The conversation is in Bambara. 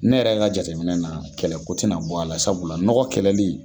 Ne yɛrɛ ka jateminɛ na kɛlɛko tɛna bɔ a la sabula nɔgɔ kɛlɛli